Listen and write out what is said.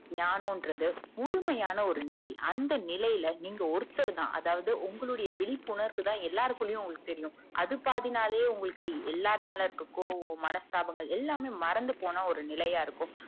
ஞானம் ண்டறது முழுமையான ஒரு நிலை அந்த நிலையில நீங்க ஒருத்தருதான் அதாவது உங்களுடைய விழிபுணர்வு தான் எல்லார்க்குல்லையும் தெரியும் அது பாதினாலையே உங்களுக்கு எல்லருமேல இருக்குற கோவம் மனஸ்தாபங்கள் எல்லாமே மறந்து போனா ஒரு நிலையாருக்கும்